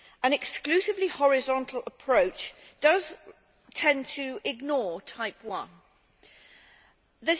An exclusively horizontal approach does tend to ignore Type I.